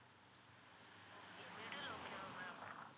okay middle okay வா ma'am